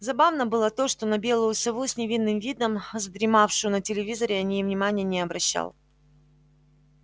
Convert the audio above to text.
забавно было то что на белую сову с невинным видом задремавшую на телевизоре он и внимания не обращал